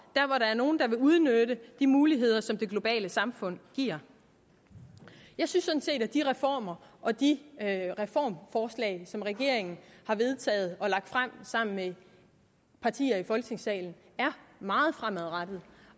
er nogle der vil udnytte de muligheder som det globale samfund giver jeg synes sådan set at de reformer og de reformforslag som regeringen har vedtaget og lagt frem sammen med partier i folketingssalen er meget fremadrettede